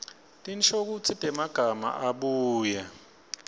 tinshokutsi temagama abuye